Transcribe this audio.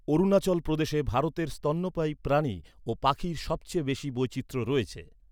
অরুণাচল প্রদেশে ভারতের স্তন্যপায়ী প্রাণী ও পাখির সবচেয়ে বেশি বৈচিত্র্য রয়েছে।